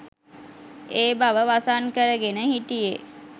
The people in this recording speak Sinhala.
ඒ බව වසන් කරගෙන හිටියෙ